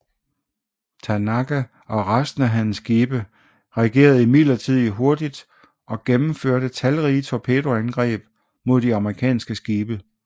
Tanaka og resten af hans skibe reagerede imidlertid hurtigt og gennemførte talrige torpedoangreb mod de amerikanske skibe